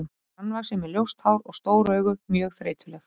Hún er grannvaxin með ljóst hár og stór augu, mjög þreytuleg.